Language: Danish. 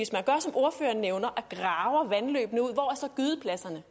ordføreren nævner og graver vandløbene ud hvor er så gydepladserne